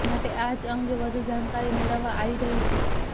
માટે જ આ અંગે વધુ જાણકારી મેળવવામાં આવી રહી છે